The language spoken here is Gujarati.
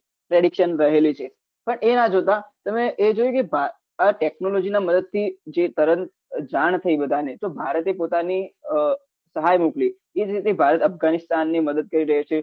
preddiction રહેલી છે પણ એ ના જોતા તમે એ જોયું કે ભારત technology ના મદદથી જે તરંગ જાન થઇ બધાને ભારતે પોતાની સહાય મોકલી એ જ રીતે ભારત અફઘાનિસ્તાન ને મદદ કરી રહ્યો છે